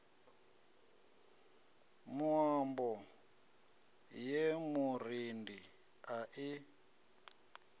muambo ye murendi a i